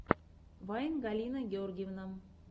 вайн галина гергивна